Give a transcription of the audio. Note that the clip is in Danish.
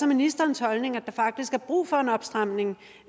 ministerens holdning at der faktisk er brug for en opstramning